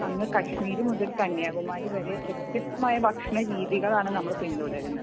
അങ്ങ് കശ്മീർ മുതൽ കന്യാകുമാരി വരെ വ്യത്യസ്തമായ ഭക്ഷണ രീതികളാണ് നമ്മൾ പിന്തുടരുന്നത്